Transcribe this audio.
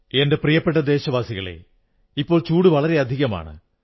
എന്റെ പ്രിയപ്പെട്ട ദേശവാസികളേ ചൂട് വളരെയധികമാണ്